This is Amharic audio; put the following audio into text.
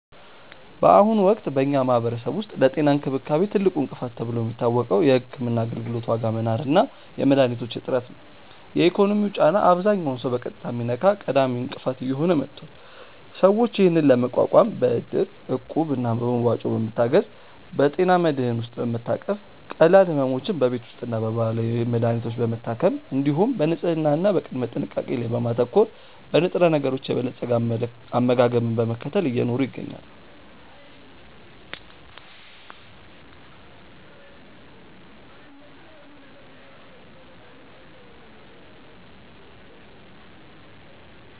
በአሁኑ ወቅት በኛ ማህበረሰብ ውስጥ ለጤና እንክብካቤ ትልቁ እንቅፋት ተብሎ የሚታወቀው የሕክምና አገልግሎት ዋጋ መናር እና የመድኃኒቶች እጥረት ነው። የኢኮኖሚው ጫና አብዛኛውን ሰው በቀጥታ የሚነካ ቀዳሚ እንቅፋት እየሆነ መጥቷል። ሰዎች ይህንን ለመቋቋም በእድር፣ እቁብ እና በመዋጮ በመታገዝ፣ በጤና መድህን ውስጥ በመታቀፍ፣ ቀላል ሕመሞችን በቤት ውስጥና በባህላዊ መድሀኒቶች በመታከም፣ እንዲሁም በንጽህና እና በቅድመ ጥንቃቄ ላይ በማተኮር፣ በንጥረነገሮች የበለፀገ አመጋገብን በመከተል እየኖሩ ይገኛሉ።